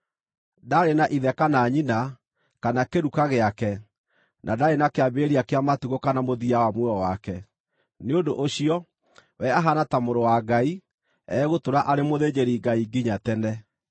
Ndaarĩ na ithe kana nyina, kana kĩruka gĩake, na ndaarĩ na kĩambĩrĩria kĩa matukũ kana mũthia wa muoyo wake, nĩ ũndũ ũcio, we ahaana ta Mũrũ wa Ngai, egũtũũra arĩ mũthĩnjĩri-Ngai nginya tene.